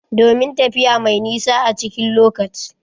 Domin tafiya mai nisa a cikin lockaci